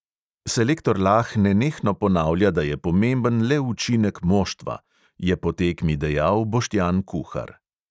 "Selektor lah nenehno ponavlja, da je pomemben le učinek moštva," je po tekmi dejal boštjan kuhar.